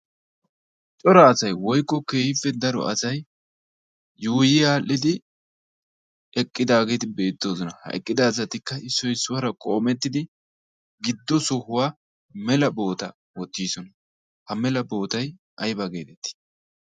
cora asay woykko keehippe daro asay yuuyi aadhdhidi eqqidaageeti beettoosona ha eqqida azatikka issoy issuwaara qoomettidi giddo sohuwaa mela boota oottiisona ha mela bootay ayba geedettii